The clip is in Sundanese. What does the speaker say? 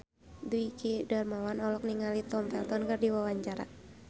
Dwiki Darmawan olohok ningali Tom Felton keur diwawancara